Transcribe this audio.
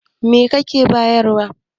me yake siyarwa